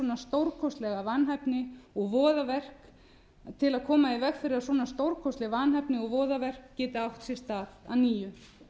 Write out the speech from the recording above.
lög til að koma í veg fyrir að svona stórkostleg vanhæfni og voðaverk geti átt sér stað að nýju